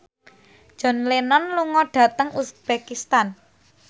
John Lennon lunga dhateng uzbekistan